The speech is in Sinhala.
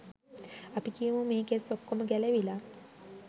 අපි කියමු මේ කෙස් ඔක්කොම ගැලවිලා